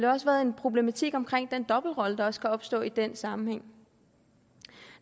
også været en problematik omkring den dobbeltrolle der kan stå opstå i den sammenhæng